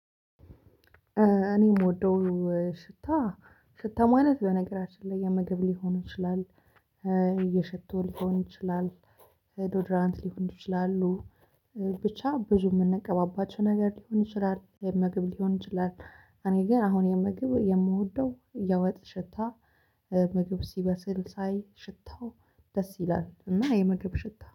እኔ የምወደው ሽታ ሽታ ማለት በነገራችን ላይ የምግብ ሊሆን ይችላል የሽቶ ሊሆን ይችላል ዶድራንት ሊሆን ይችላሉ ብቻ ብዙ የምንቀባባቸው ነገር ሊሆን ይችላል ምግብ ሊሆን ይችላል። እኔ ግን አሁን የምግብ የምወደው የወጥ ሽታ ምግብ ሲበስል ሳይ ሽታው ደስ ይላል እና የምግብ ሽታ